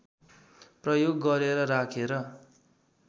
प्रयोग गरेर राखेर